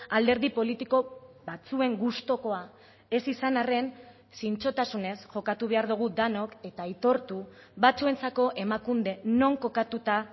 alderdi politiko batzuen gustukoa ez izan arren zintzotasunez jokatu behar dugu denok eta aitortu batzuentzako emakunde non kokatuta